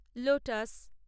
lotus